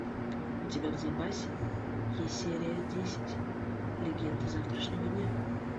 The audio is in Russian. у тебя в запасе есть серия десять легенда завтрашнего дня